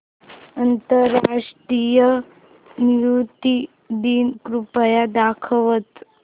आंतरराष्ट्रीय नृत्य दिन कृपया दाखवच